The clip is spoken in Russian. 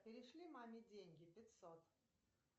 перешли маме деньги пятьсот